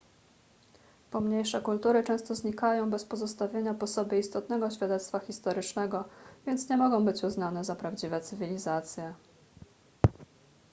pomniejsze kultury często znikają bez pozostawienia po sobie istotnego świadectwa historycznego więc nie mogą być uznane za prawdziwe cywilizacje